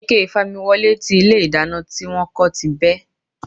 Ike ìfamiwọlé tí ilé ìdáná tí wón kó ti bẹ́.